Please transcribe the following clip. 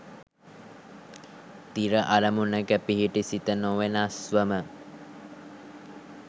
තිර අරමුණක පිහිටි සිත නොවෙනස්වම